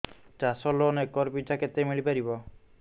ଚାଷ loan acre ପିଛା କେତେ ମିଳି ପାରିବ